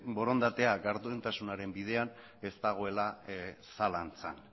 borondatea gardentasunaren bidean ez dagoela zalantzan